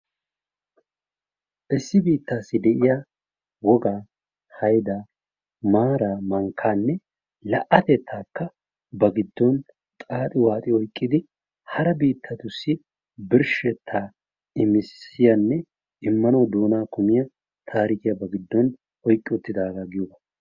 Issi biitasi deiya wogaa, haydaa, maara mankkaa, la'atettakka ba gidgon xaaxi waxi oyqqidi hara biittatusi birshshetta immisiyane immanawu doonaa kumiya tarikiya ba giddon oyqqi uttidaga giyoga.